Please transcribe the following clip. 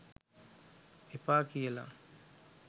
එපා කියලා?